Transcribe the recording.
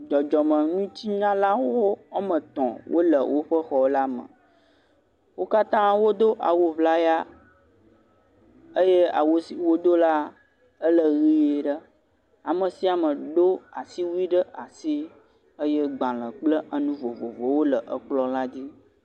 Dzɔdzɔmeŋutinunyalawo woame etɔ wole woƒe xɔ la me, wo kata wodo awu ƒlaya eye awu si wodo la le ʋi ɖe. ame sia me do asi wuie ɖe asi eye gbalẽ kple nu vovovowo le ekplɔ la dzi.